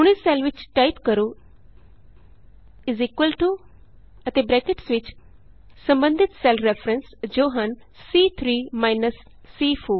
ਹੁਣ ਇਸ ਸੈੱਲ ਵਿਚ ਟਾਈਪ ਕਰੋ ਅਤੇ ਬਰੈਕਟਸ ਵਿਚ ਸਬੰਧਤ ਸੈੱਲ ਰੈਫਰੇਂਸ ਜੋ ਹਨ ਸੀ3 ਮਾਈਨਸ C4